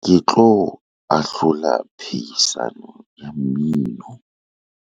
ke tlo ahlola phehisano ya mmino